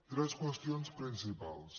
tres qüestions principals